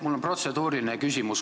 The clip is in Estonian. Mul on protseduuriline küsimus.